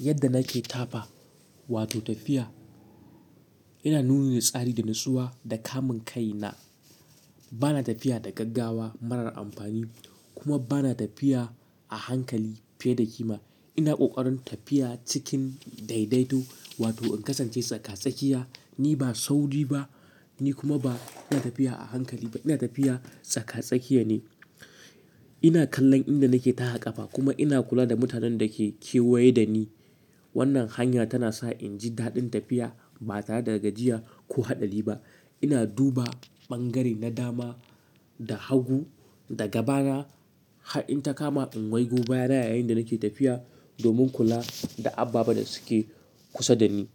Yadda nake tafa wato tafiya, yana nuna ni tsari da natsuwa da kamun kai na. Bana tafiya da gaggawa marar amfani kuma bana tafiya a hankali fiye da kima. Ina ƙoƙarin tafiya cikin daidaito wato in kasance tsaka-tsakiya. Ni ba sauri ba, ni kuma ba ina tafiya a hankali ba. Ina tafiya tsaka-tsakiya ne. Ina kallon inda nake taha ƙafa kuma ina kula da mutanen da ke kewaye da ni. Wannan hanya tana sa in ji daɗin tafiya ba tare da gajiya ko haɗari ba. Ina duba ɓangare na dama da hagu da gabana. Har in ta kama in wai go bayan yayin da nake tafiya domin kula da ababe da suke kusa da ni.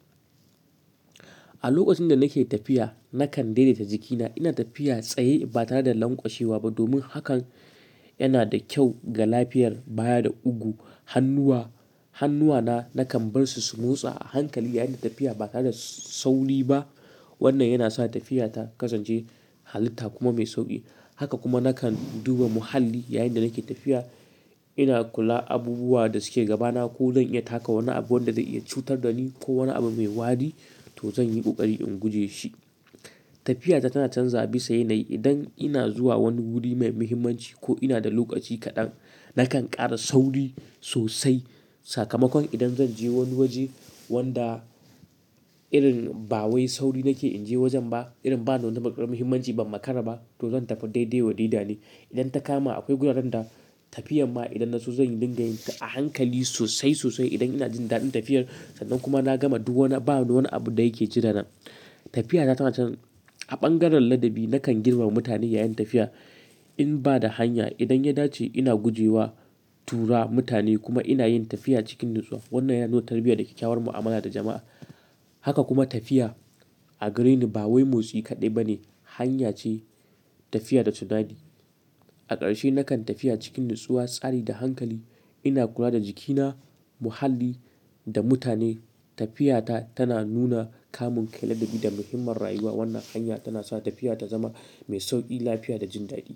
A lokacin da nake tafiya nakan daidaita jikina. Ina tafiya tsaye ba tare da lanƙwashewa ba domin hakan yana da kyau ga lafiyar baya da ugu. Hannuwa, hannuwa na nakan bar su su motsa a hankali yayin da tafiya ba tare da sauri ba. Wannan yana sa tafiya ta kasance halitta kuma mai sauƙi. Haka kuma nakan duba muhalli yayin da nake tafiya. Ina kula abubuwa da suke gabana ko zan iya taka wani abu wanda zai iya cutar da ni ko wani abu mai wari to zan yi ƙoƙari in guje shi. Tafiya ta tana canza bisa yanayi. Idan ina zuwa wani wuri mai muhimmanci ko ina da lokaci kaɗan, nakan ƙara sauri sosai. Sakamakon idan zan je wani waje wanda irin ba wai sauri nake in je wajen ba, irin ba da wani matukar muhimmanci ba makara ba to zan tafi daidai wa daida ne. Idan ta kama akwai gurarenda tafiyan ma idan na so zan yi dinga yi a hankali sosai sosai idan ina jin daɗin tafiyar sannan kuma na gama duk wani ba da wani abu da yake jirina. Tafiya ta tana can a ɓangaren ladabi. Nakan girmama mutane yayin tafiya in ba da hanya. Idan ya dace ina gujewa, tura mutane kuma ina yin tafiya cikin natsuwa. Wannan yana nuna tarbiyya da kyakkyawar mu'amala da jama'a. Haka kuma tafiya a gare ni ba wai motsi kaɗai ba ne, hanya ce tafiya da tunadi. A ƙarshe nakan tafiya cikin natsuwa, tsari da hankali. Ina kula da jikina, muhalli da mutane. Tafiya ta tana nuna kamun kai, ladabi da muhimmin rayuwa. Wannan hanya tana sa tafiya ta zama mai sauƙi, lafiya da jin daɗi.